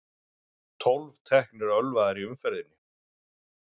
Tólf teknir ölvaðir í umferðinni